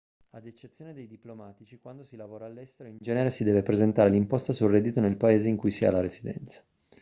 ad eccezione dei diplomatici quando si lavora all'estero in genere si deve presentare l'imposta sul reddito nel paese in cui si ha la residenza